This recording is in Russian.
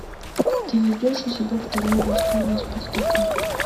ты найдешь у себя второе восстание спартака